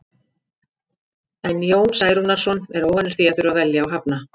En Jón Særúnarson er óvanur því að þurfa að velja og hafna.